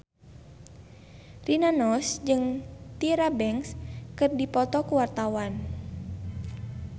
Rina Nose jeung Tyra Banks keur dipoto ku wartawan